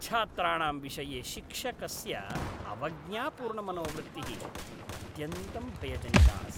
छात्राणां विषये शिक्षकस्य अवज्ञापूर्णमनोवृत्तिः अत्यन्तं भयजनिका अस्ति।